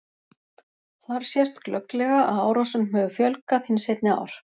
Þar sést glögglega að árásum hefur fjölgað hin seinni ár.